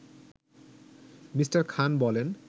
Me. Khan বলেন